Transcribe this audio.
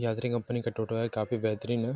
यात्री कंपनी का टोटो हैकाफी बहेतरिन है।